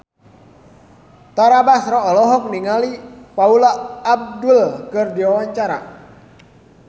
Tara Basro olohok ningali Paula Abdul keur diwawancara